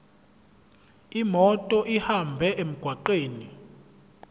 imoto ihambe emgwaqweni